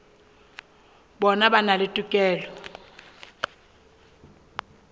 bona ba na le tokelo